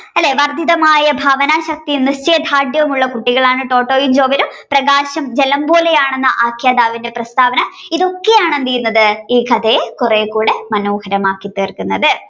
അല്ലേ ഭാവന ശക്തി നിശ്ചയദാര്‍ഢ്യവും ഉള്ള കുട്ടികളാണ് ടോട്ടയും ജോവലും. പ്രകാശൻ ജലം പോലെ ആണെന്ന് ആഖ്യാതാവിന്റെ പ്രസ്താവന ഇതൊക്കെ എന്താണ് കുറേക്കൂടെ മനോഹരമാക്കി തീർക്കുന്നത്